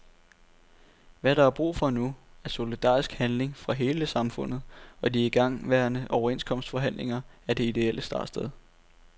Hvad der er brug for nu, er solidarisk handling fra hele samfundet, og de igangværende overenskomstforhandlinger er det idéelle startsted.